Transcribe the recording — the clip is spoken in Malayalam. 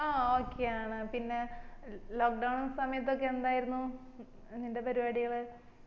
ആ okay ആണ് പിന്നെ lock down സമയത്തൊക്കെ എന്തായിരുന്നു നിന്റെ പരിപാടികള്